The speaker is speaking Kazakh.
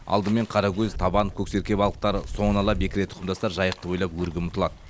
алдымен қаракөз табан көксерке балықтары соңын ала бекіре тұқымдастар жайықты бойлап өрге ұмтылады